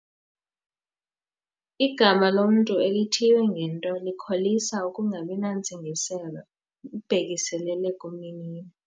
Igama lomntu elithiywe ngento likholisa ukungabi nantsingiselo ibhekiselele kumninilo.